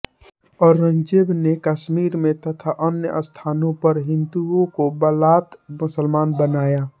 औरंगज़ेब ने कश्मीर में तथा अन्य स्थानों पर हिन्दुओं को बलात मुसलमान बनवाया